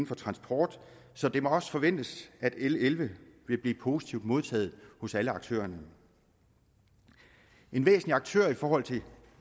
for transport så det må også forventes at l elleve vil blive positivt modtaget hos alle aktørerne en væsentlig aktør i forhold til